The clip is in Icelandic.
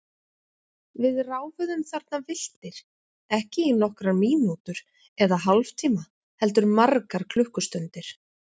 Við ráfuðum þarna villtir, ekki í nokkrar mínútur eða hálftíma heldur margar klukkustundir.